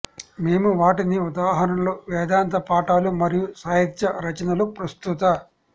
మేము వాటిని ఉదాహరణలు వేదాంత పాఠాలు మరియు సాహిత్య రచనలు ప్రస్తుత